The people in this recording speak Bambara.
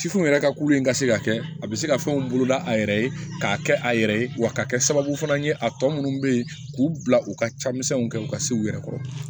Sifinw yɛrɛ ka kulu in ka se ka kɛ a be se ka fɛnw boloda a yɛrɛ ye k'a kɛ a yɛrɛ ye wa k'a kɛ sababu fana ye a tɔ munnu be yen k'u bila u ka camisɛninw kɛ u ka se u yɛrɛ kɔrɔ